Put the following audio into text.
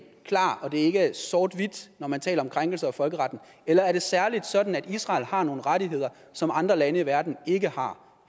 klar og at det ikke er sort hvidt når man taler om krænkelser af folkeretten eller er det særlig sådan at israel har nogle rettigheder som andre lande i verden ikke har